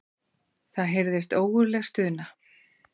Það heyrðist ógurleg stuna.